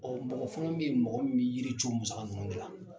mɔgɔ fana bɛ ye mɔgɔ min bɛ yiri cun musaka ninnu ne la.